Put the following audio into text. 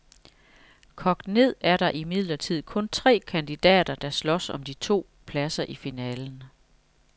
Kogt ned er der imidlertid kun tre kandidater, der slås om de to pladser i finalen.